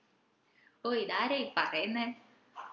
O ഇതാരാ ഈ പറേന്നെ